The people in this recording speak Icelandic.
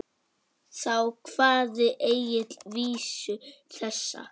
Þá kvað Egill vísu þessa: